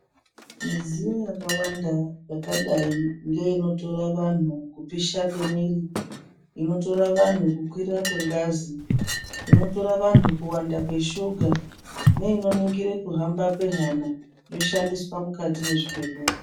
Midziyo yakawanda yakadai ngeinotora vantu kupisha kwemwiri inotara vantu kukwira kwengazi inotora vantu kuwanda kweshuga neinoningira kuhamba kwehana yoshandiswa mukati mezvibhedhlera.